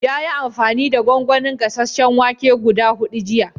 Ya yi amfani da gongonin gasasen wake guda hudu jiya.